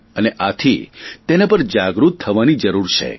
અને આથી તેના પર જાગૃત થવાની જરૂર છે